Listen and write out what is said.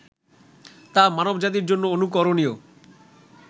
তা মানব জাতির জন্য অনুকরণীয়